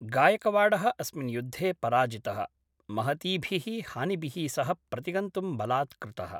गायकवाडः अस्मिन् युद्धे पराजितः, महतीभिः हानिभिः सह प्रतिगन्तुम् बलात्कृतः।